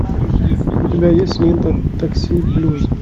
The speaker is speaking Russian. у тебя есть лента такси блюз